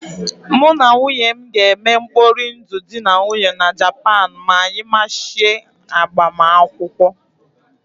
Mụ na nwunye m ga-eme mkpori ndụ dị na nwunye na Japan ma anyị mechie agbamakwụkwọ.